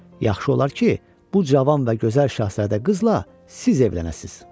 Yaxşı olar ki, bu cavan və gözəl Şahzadə qızla siz evlənəsiz."